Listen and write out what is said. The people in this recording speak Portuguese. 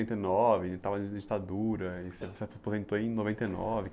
Setenta e nove, você estava em ditadura, e você você aposentou em noventa e nove.